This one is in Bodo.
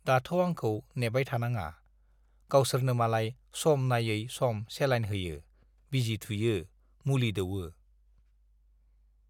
दाथ' आंखौ नेबाय थानाङा, गावसोरनो मालाय सम नायै सम चेलाइन होयो, बिजि थुयो, मुलि दौवो।